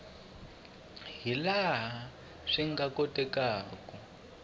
hi laha swi nga kotekaku